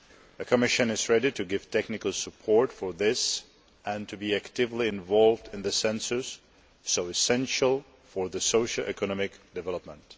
The Commission is ready to give technical support for this and to be actively involved in the census so essential for the socio economic development.